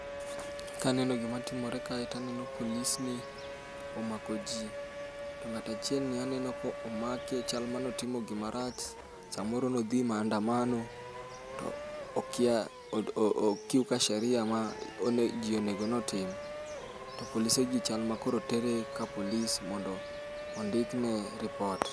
Kaneno gimatimore kae to aneno police ni omako ji. To ng'ato achielni aneno ka omaki chal ni ne otimo gima rach. Samoro ne odhi e mandamano to o kiuka sheria ji monego bed notim to polisegi chal nikoro tere ka police mondo ondikne lipot.